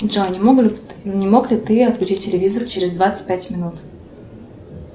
джой не мог ли ты отключить телевизор через двадцать пять минут